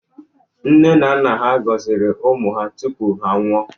Nne na naa nyere gọziri ụmụ ha tụpụ ha anwụọ